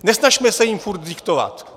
Nesnažme se jim furt diktovat!